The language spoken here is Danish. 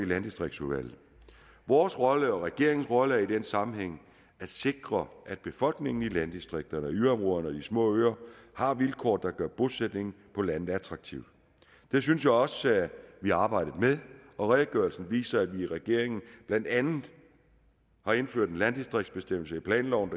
landdistriktsudvalget vores rolle og regeringens rolle er i den sammenhæng at sikre at befolkningen i landdistrikterne yderområderne og de små øer har vilkår der gør bosætning på landet attraktivt det synes jeg også vi har arbejdet med og redegørelsen viser at vi i regeringen blandt andet har indført en landdistriktsbestemmelse i planloven